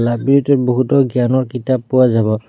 Library টোত বহুতো জ্ঞানৰ কিতাপ পোৱা যাব।